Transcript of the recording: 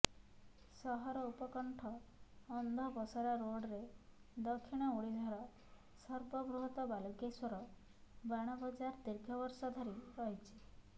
ସହର ଉପକଣ୍ଠ ଅନ୍ଧପସରା ରୋଡ଼ରେ ଦକ୍ଷିଣ ଓଡ଼ିଶାର ସର୍ବବୃହତ୍ତ ବାଲୁଙ୍କେଶ୍ୱର ବାଣ ବଜାର ଦୀର୍ଘବର୍ଷ ଧରି ରହିଛି